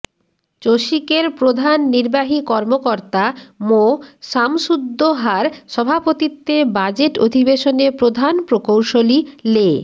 চসিকের প্রধান নির্বাহী কর্মকর্তা মোঃ সামসুদ্দোহার সভাপতিত্বে বাজেট অধিবেশনে প্রধান প্রকৌশলী লে